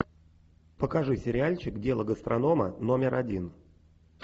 покажи сериальчик дело гастронома номер один